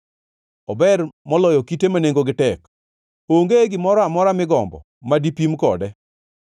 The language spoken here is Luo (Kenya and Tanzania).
Ober moloyo kite ma nengogi tek; onge gimoro amora migombo ma dipim kode.